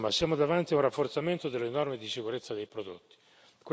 Insomma, siamo davanti a un rafforzamento delle norme di sicurezza dei prodotti.